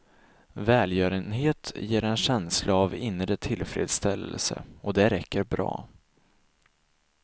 Välgörenhet ger en känsla av inre tillfredsställelse, och det räcker bra.